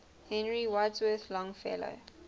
henry wadsworth longfellow